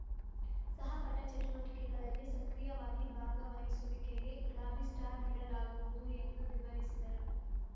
ಸಹ ಪಠ ಚಟುವಟಿಕೆಗಳಲ್ಲಿ ಸಕ್ರಿಯವಾಗಿ ಭಾಗವಹಿಸುವಿಕೆಗೆ ಗುಲಾಬಿ ಸ್ಟಾರ್‌ ನೀಡಲಾಗುವುದು ಎಂದು ವಿವರಿಸಿದರು